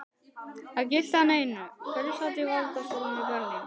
Það gilti hann einu, hverjir sátu í valdastólum í Berlín.